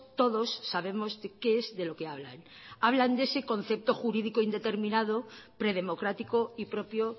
todos sabemos de qué es de lo que hablan hablan de ese concepto jurídico indeterminado predemocrático y propio